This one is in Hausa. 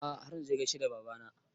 A'a har na gaishe da baba na